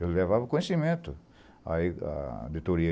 Eu levava o conhecimento, aí a auditoria.